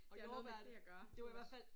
Det har noget med det at gøre også